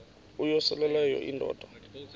uyosele leyo indoda